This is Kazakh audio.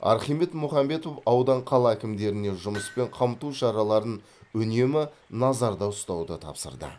архимед мұхамбетов аудан қала әкімдеріне жұмыспен қамту шараларын үнемі назарда ұстауды тапсырды